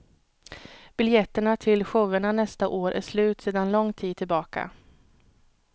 Biljetterna till showerna nästa år är slut sedan lång tid tillbaka.